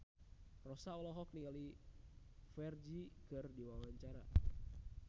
Rossa olohok ningali Ferdge keur diwawancara